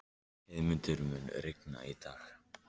Heiðmundur, mun rigna í dag?